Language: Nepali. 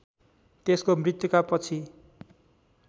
त्यसको मृत्युका पछि